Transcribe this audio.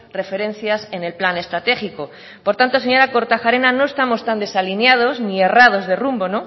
referencias en el plan estratégico por tanto señora kortajarena no estamos tan desalineados ni errados de rumbo